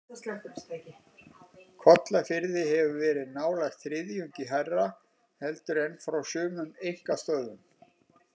Kollafirði hefur verið nálægt þriðjungi hærra heldur en frá sumum einkastöðvum.